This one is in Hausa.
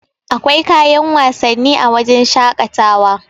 akwai kayan wasanni a wajen shaƙatawa